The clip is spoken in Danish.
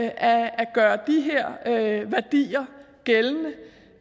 at gøre de her værdier gældende